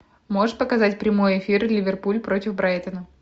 можешь показать прямой эфир ливерпуль против брайтона